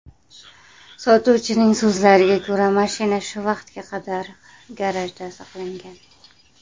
Sotuvchining so‘zlariga ko‘ra, mashina shu vaqtga qadar garajda saqlangan.